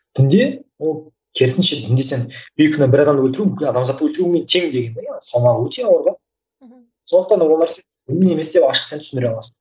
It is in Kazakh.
дінде ол керісінше дінге сен бейкүнә бір адамды өлтіру бүкіл адамзатты өлтірумен тең деген салмағы өте ауыр да мхм сондықтан да олар ашық сен түсіндіре аласың